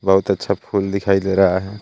बहुत अच्छा फूल दिखाई दे रहा है.